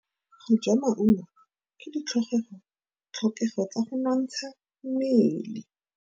Go ja maungo ke ditlhokegô tsa go nontsha mmele.